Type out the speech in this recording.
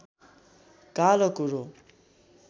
कालो कुरो